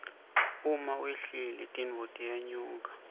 uma wehlile tintfo tiyenyuka